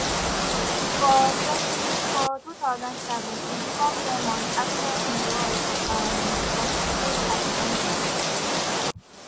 for 2007 e become famous afta im role um for “secret adventures”